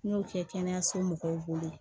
N y'o kɛ kɛnɛyaso mɔgɔw bolo